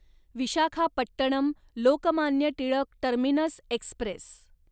Visakhapatnam Lokmanya Tilak terminus Express